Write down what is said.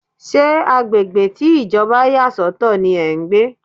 Ṣé agbègbè tí Ìjọba yà sọ̀tọ̀ ní ẹ́ ń gbé?